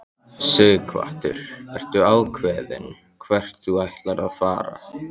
Sighvatur: Ertu ákveðinn hvert þú ætlar að fara?